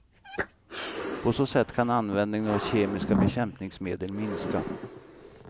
På så sätt kan användningen av kemiska bekämpningsmedel minska.